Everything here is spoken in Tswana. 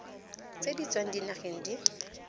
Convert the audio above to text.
tse di tswang dinageng di